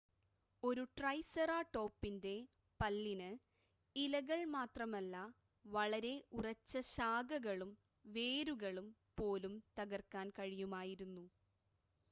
ഒരു ട്രൈസെറാടോപ്പിൻ്റെ പല്ലിന് ഇലകൾ മാത്രമല്ല വളരെ ഉറച്ച ശാഖകളും വേരുകളും പോലും തകർക്കാൻ കഴിയുമായിരുന്നു